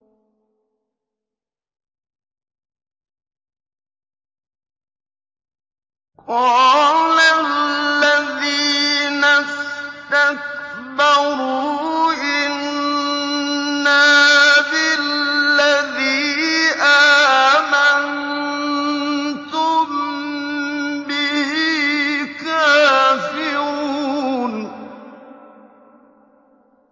قَالَ الَّذِينَ اسْتَكْبَرُوا إِنَّا بِالَّذِي آمَنتُم بِهِ كَافِرُونَ